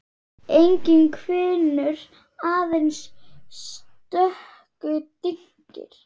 Enginn hvinur, aðeins stöku dynkir.